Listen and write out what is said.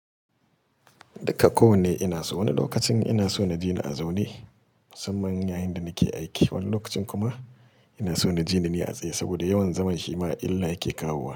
Dukako wanne ina so. Wani lokacin ina so na ji ni a zaune musamman yayin da nake aiki, wani lokacin kuma ina so na ji ni ne a tsaye saboda yawan zaman shima illa yake kawowa.